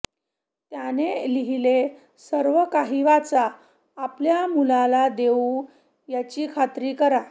त्याने लिहिले सर्वकाही वाचा आपल्या मुलाला देऊ याची खात्री करा